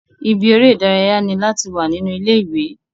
Ibi eré ìdárayá ni láti wà nínú ilé ìwé.